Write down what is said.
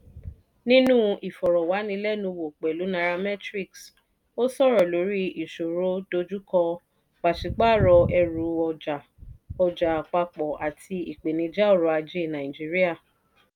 nínú ìfọ̀rọ̀wánilẹ́nuwò pẹ̀lú nairametrics ó sọ̀rọ̀ lórí ìṣòro dojúkọ pàṣípààrọ̀ ẹrù ọjà ọjà àpapọ̀ àti ìpèníjà ọrọ̀-ajé nàìjíríà.